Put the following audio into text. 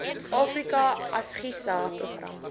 africa asgisa program